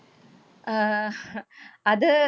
അഹ് അത്